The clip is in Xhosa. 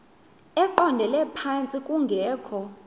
eqondele phantsi kungekho